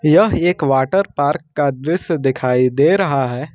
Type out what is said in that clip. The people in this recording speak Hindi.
यह एक वाटर पार्क का दृस्य दिखाई दे रहा है।